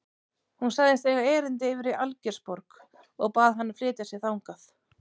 Hún sagðist eiga erindi yfir í Algeirsborg og bað hann að flytja sig þangað.